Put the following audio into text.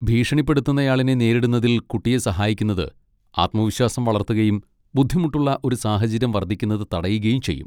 ഭീഷണിപ്പെടുത്തുന്നയാളിനെ നേരിടുന്നതിൽ കുട്ടിയെ സഹായിക്കുന്നത് ആത്മവിശ്വാസം വളർത്തുകയും ബുദ്ധിമുട്ടുള്ള ഒരു സാഹചര്യം വർദ്ധിക്കുന്നത് തടയുകയും ചെയ്യും.